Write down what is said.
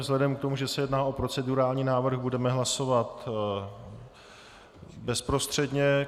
Vzhledem k tomu, že se jedná o procedurální návrh, budeme hlasovat bezprostředně.